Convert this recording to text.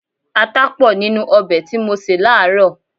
Ata pọ̀ nínú ọbẹ̀ tí mo sè láàárọ̀.